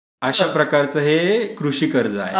अशा प्रकारचे कृषी कर्ज आहे.